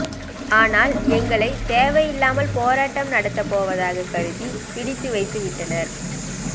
ஆனால் எங்களை தேவையில்லாமல் போராட்டம் நடத்தப் போவதாக கருதி பிடித்து வைத்து விட்டனர்